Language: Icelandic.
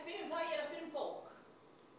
er bók